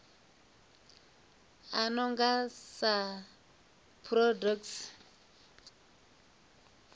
a no nga sa protocols